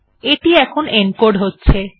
এটি এখন এনকোড হচ্ছে